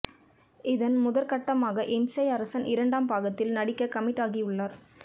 இதன் முதற் கட்டமாக இம்சை அரசன் இரண்டாம் பாகத்தில் நடிக்க கமிட் ஆகியுள்ளார்